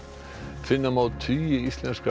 finna má tugi íslenskra